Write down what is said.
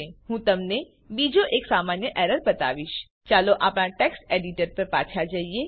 હું તમને બીજો એક સામાન્ય એરર બતાવીશ ચાલો આપણા ટેક્સ્ટ એડીટર પર પાછા જઈએ